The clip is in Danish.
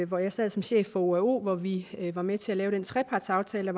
hvor jeg sad som chef for oao hvor vi var med til at lave en trepartsaftale